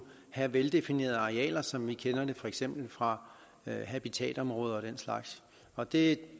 have veldefinerede arealer som vi kender det for eksempel fra habitatområder og den slags og det